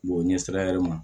o ɲɛ sira hɛrɛ ma